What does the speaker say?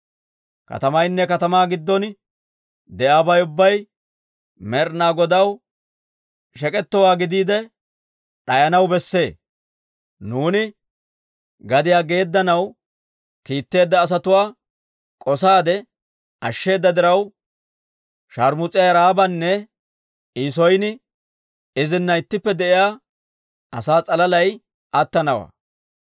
Katamaynne katamaa giddon de'iyaabay ubbay Med'ina Godaw shek'etowaa gidiide, d'ayanaw besse. Nuuni gadiyaa geeddanaw kiitteedda asatuwaa k'osaade ashsheeda diraw, sharmus'iyaa Ra'aabanne I son izina ittippe de'iyaa asaa s'alalay attanawaa.